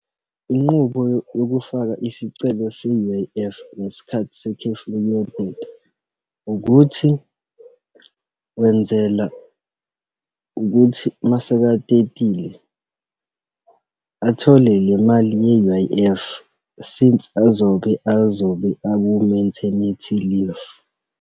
Inqubo yokufaka isicelo se-U_I_F ngesikhathi sekhefu lokuyoteta, ukuthi wenzela ukuthi uma sekatetile athole le mali ye-U_I_F since azoke, azobe aku-maternity leave.